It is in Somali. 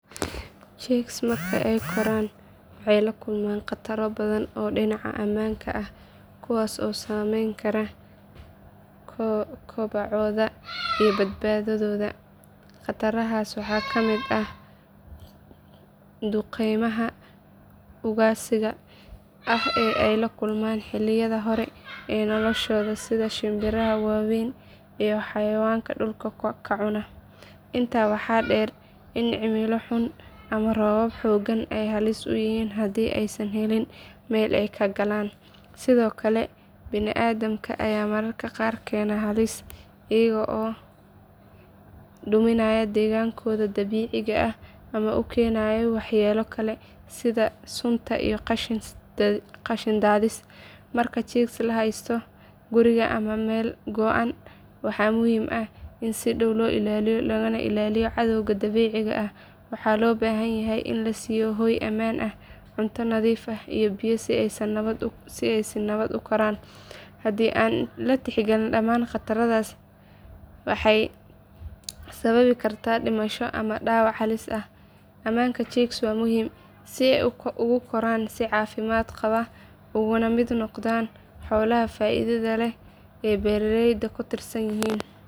Chicks marka ay koraan waxay la kulmaan khataro badan oo dhinaca ammaanka ah kuwaas oo saameyn kara kobacooda iyo badbaadooda. Khatarahaas waxaa ka mid ah duqeymaha ugaadhsiga ah ee ay la kulmaan xilliyada hore ee noloshooda sida shimbiraha waaweyn iyo xayawaanka dhulka ka cuna. Intaas waxaa dheer in cimilo xun ama roobab xooggan ay halis ku yihiin haddii aysan helin meel ay ka galaan. Sidoo kale bini’aadamka ayaa mararka qaar keena halis iyagoo duminaya deegaanadooda dabiiciga ah ama u keenaya waxyeello kale sida sunta iyo qashin daadis. Marka chicks la haysto guriga ama meel go’an waxaa muhiim ah in si dhow loo ilaaliyo laga ilaaliyo cadawga dabiiciga ah, waxaana loo baahan yahay in la siiyo hoy ammaan ah, cunto nadiif ah iyo biyo si ay si nabad ah u koraan. Haddii aan la tixgelin dhammaan khatarahaas, waxay sababi kartaa dhimasho ama dhaawac halis ah. Ammaanka chicks waa muhiim si ay ugu koraan si caafimaad qaba ugana mid noqdaan xoolaha faa’iidada leh ee beeraleydu ku tiirsan yihiin.